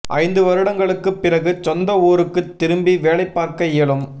ஐந்து வருடங்களுக்குப் பிறகு சொந்த ஊருக்குத் திரும்பி வேலை பார்க்க இயலும்